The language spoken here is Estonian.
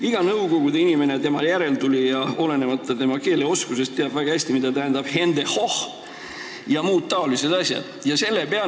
Iga nõukogude inimene ja tema järeltulija teab olenemata keeleoskusest väga hästi, mida tähendab "Hände hoch!" ja mida tähendavad muud sellised asjad.